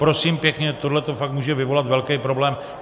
Prosím pěkně, tohle to fakt může vyvolat velký problém.